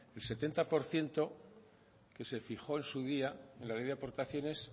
el setenta por ciento que se fijó en su día la ley de aportaciones